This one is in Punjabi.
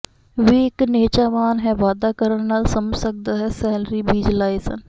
ਵੀ ਇੱਕ ਨਿਹਚਾਵਾਨ ਹੈ ਵਾਧਾ ਕਰਨ ਨਾਲ ਸਮਝ ਸਕਦਾ ਹੈ ਸੈਲਰੀ ਬੀਜ ਲਾਏ ਸਨ